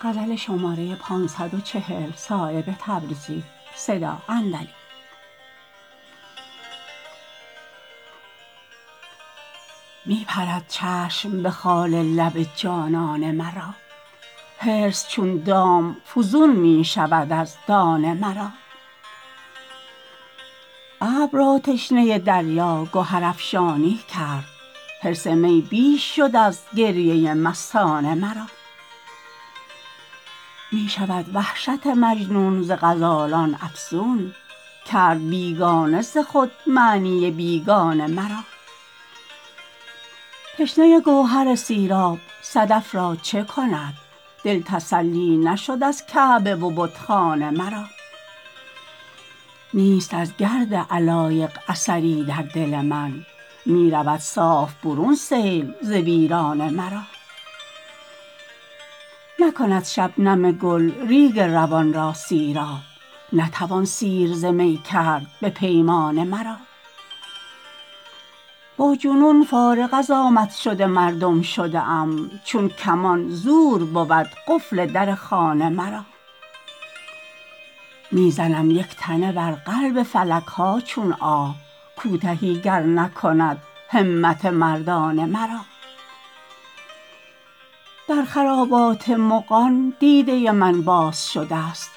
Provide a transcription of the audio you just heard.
می پرد چشم به خال لب جانانه مرا حرص چون دام فزون می شود از دانه مرا ابر را تشنه دریا گهرافشانی کرد حرص می بیش شد از گریه مستانه مرا می شود وحشت مجنون ز غزالان افزون کرد بیگانه ز خود معنی بیگانه مرا تشنه گوهر سیراب صدف را چه کند دل تسلی نشد از کعبه و بتخانه مرا نیست از گرد علایق اثری در دل من می رود صاف برون سیل ز ویرانه مرا نکند شبنم گل ریگ روان را سیراب نتوان سیر ز می کرد به پیمانه مرا با جنون فارغ از آمد شد مردم شده ام چون کمان زور بود قفل در خانه مرا می زنم یک تنه بر قلب فلک ها چون آه کوتهی گر نکند همت مردانه مرا در خرابات مغان دیده من باز شده است